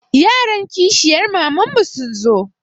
Yaran kishiyar mamanmu sun zo.